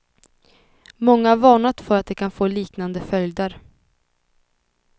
Många har varnat för att det kan få liknande följder.